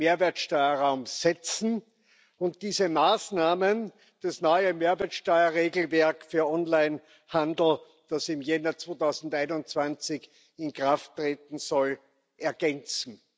Mehrwertsteuerraums setzen und diese Maßnahmen das neue Mehrwertsteuerregelwerk für Online Handel, das im Januar 2021 in Kraft treten soll, ergänzen.